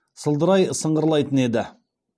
сылдырай сыңғырлайтын еді